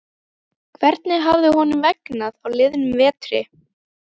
Hvernig hafði honum vegnað á liðnum vetri?